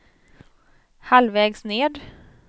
halvvägs ned